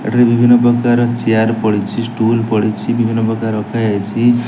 ଏଠାରେ ବିଭିନ୍ନ ପ୍ରକାର ଚିଆର ପଡ଼ିଛି ଷ୍ଟୁଲ୍ ପଡ଼ିଛି ବିଭିନ୍ନ ପ୍ରକାର ରଖା ଯାଇଛି।